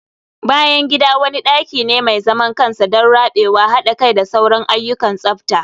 bayan gida wani daki ne mai zaman kansa don rabewa, hada kai da sauran ayyukan tsafta